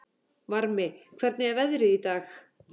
Varmi, hvernig er veðrið í dag?